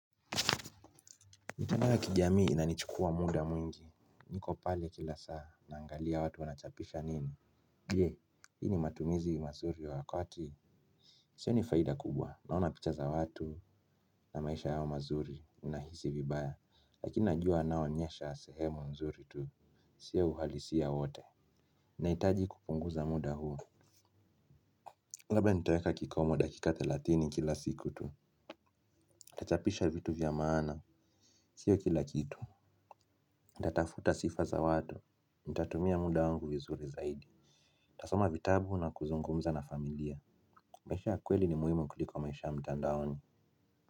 Mitandao ya kijamii inanichukua muda mwingi. Niko pale kila saa naangalia watu wanachapisha nini je hii ni matumizi mazuri wa koti. Sioni faida kubwa naona picha za watu na maisha yao mazuri ninahisi vibaya. Lakini najua naonyesha sehemu mzuri tu si ya uhalisia wote. Naitaji kupunguza muda huu. Labda nitoeka kikomo dakika thelatini kila siku tu nachapisha vitu vya maana. Sio kila kitu ntatafuta sifa za watu, ntatumia muda wangu vizuri zaidi ntasoma vitabu na kuzungumza na familia. Maisha ya kweli ni muhimu kuliko maisha mtandaoni.